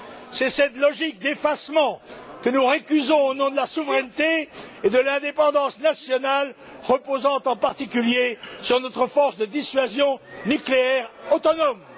C'est cette logique d'effacement que nous récusons au nom de la souveraineté et de l'indépendance nationales, qui reposent en particulier sur notre force de dissuasion nucléaire autonome.